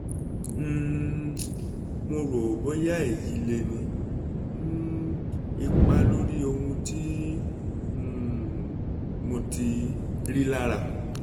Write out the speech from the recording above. um mo ro boya eyi le ni um ipa lori ohun ti um mo ti rilara